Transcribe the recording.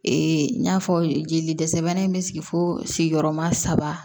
n y'a fɔ jeli dɛsɛbɛ in bɛ sigi fo sigiyɔrɔma saba